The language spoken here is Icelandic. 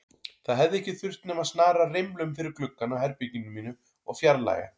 Það hefði ekki þurft nema að snara rimlum fyrir gluggann á herberginu mínu og fjarlægja